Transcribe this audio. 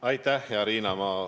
Aitäh, hea Riina!